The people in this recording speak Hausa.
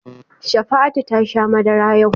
Shafa'atu ta sha madara yau.